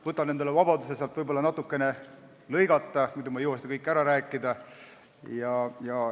Võtan endale vabaduse seal võib-olla natukene lõigata, muidu ei jõua ma kõike ära rääkida.